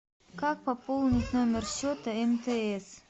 как пополнить номер счета мтс